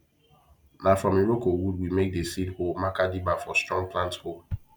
na from iroko wood we make the seed hole makerdibber for strong plant hole